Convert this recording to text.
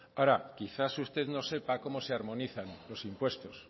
ahora quizás usted no sepa cómo se armonizan los impuestos